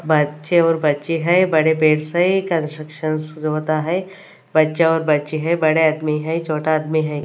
बच्चे और बच्चे है बड़े है कंस्ट्रक्शन शुरू होता है बच्चे और बच्चे है बड़े आदमी है छोटा आदमी है।